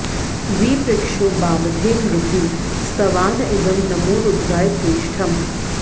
वि पृक्षो बाबधे नृभिः स्तवान इदं नमो रुद्राय प्रेष्ठम्